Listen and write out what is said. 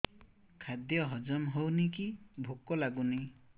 ଖାଦ୍ୟ ହଜମ ହଉନି କି ଭୋକ ଲାଗୁନି